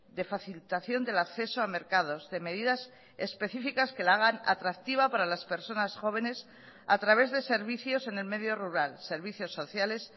de facilitación del acceso a mercados de medidas específicas que la hagan atractiva para las personas jóvenes a través de servicios en el medio rural servicios sociales